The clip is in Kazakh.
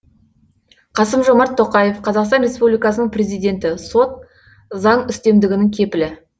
қасым жомарт тоқаев қазақстан республикасының президенті сот заң үстемдігінің кепілі